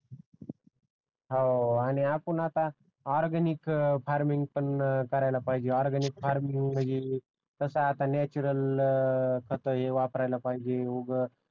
हवा आणि आपण आता ऑरगॅनिक फार्मिंग पण करायला पाहिजे ऑरगॅनिक फार्मिंग तसे आता नॅचरल खत हे वापरायला पाहिजे उघ